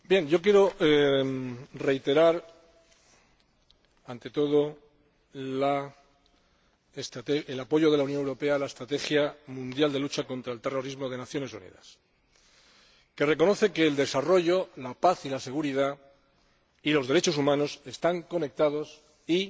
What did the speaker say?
Quiero reiterar, ante todo, el apoyo de la Unión Europea a la estrategia mundial de lucha contra el terrorismo de las Naciones Unidas, que reconoce que el desarrollo, la paz, la seguridad y los derechos humanos están conectados y